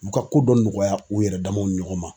U ka ko dɔ nɔgɔya u yɛrɛ damaw ni ɲɔgɔn ma.